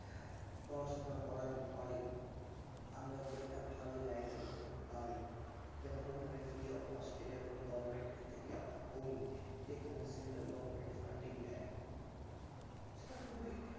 পড়াশোনা পড়ার পরে আমরা যে একটা ভালো জায়গা যখন পাই তখন আমরা ওখানে free of cost government থেকে আমরা যখন পরি যেখানে central government funding দেয় সেটা খুবই